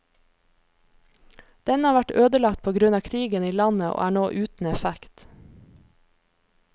Denne har vært ødelagt på grunn av krigen i landet og er nå uten effekt.